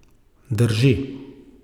Drži.